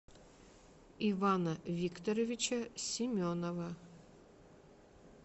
ивана викторовича семенова